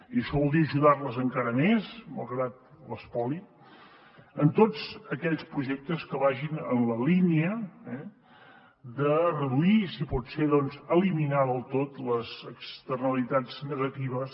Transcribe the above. i això vol dir ajudarles encara més malgrat l’espoli en tots aquells projectes que vagin en la línia de reduir i si pot ser eliminar del tot les externalitats negatives